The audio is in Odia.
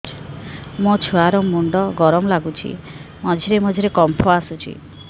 ମୋ ଛୁଆ ର ମୁଣ୍ଡ ଗରମ ଲାଗୁଚି ମଝିରେ ମଝିରେ କମ୍ପ ଆସୁଛି